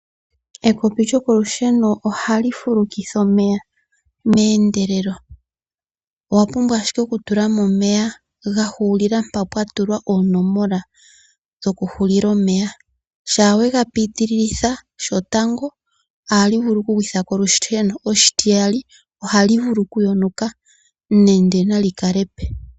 Ekopi lyokolusheno ohali fulukitha omeya meendelelo. Owa pumbwa ashike oku tula mo omeya ga hulila mpa mpwahulila oonomola dhoku hulila omeya. Shaa wega piiti lilitha shotango ohali vulu oku gwithako olusheno. Oshitiyali ohali vulu oku yonuka nende nali kale epe.